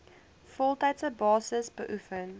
voltydse basis beoefen